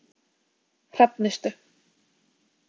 Hrafnistu